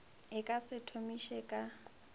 e ka se thomiše ka